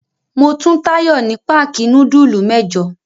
Mo tun Táyọ̀ ní páákì núdúlù mẹ́jọ.